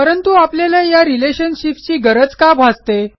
परंतु आपल्याला या relationshipsची गरज का भासते